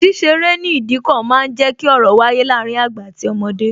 Ṣíṣe eré ní Ìdíkọ̀ máa ń jẹ ki ọ̀rọ̀ wáyé láàárín àgbà àti ọmọdé